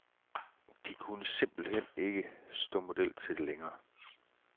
De kunne simpelt hen ikke stå model til det længere.